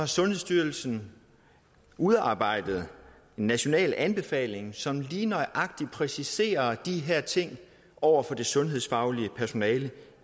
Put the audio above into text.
sundhedsstyrelsen udarbejdet en national anbefaling som lige nøjagtig præciserer de her ting over for det sundhedsfaglige personale